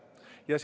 Ei kuule?